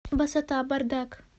басота бардак